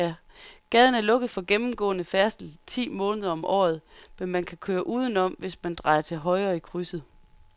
Gaden er lukket for gennemgående færdsel ti måneder om året, men man kan køre udenom, hvis man drejer til højre i krydset.